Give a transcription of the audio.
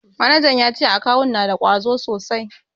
Manajan ya ce akawun na da ƙwazo sosai.